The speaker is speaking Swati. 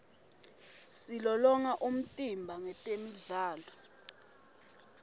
silolonga umtimba ngetemidlalo